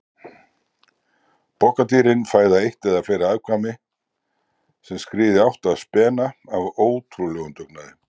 Pokadýrin fæða eitt eða fleiri afkvæmi sem skríða í átt að spena af ótrúlegum dugnaði.